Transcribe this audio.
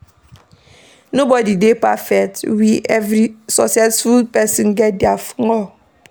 Nobody dey perfect we every successful person get their flaw